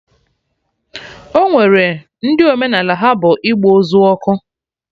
Ọnwere ndị omenaala ha bụ ịgba ozu ọkụ